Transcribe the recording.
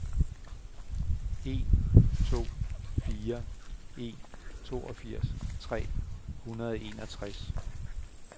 en to fire en toogfirs tre hundrede og enogtres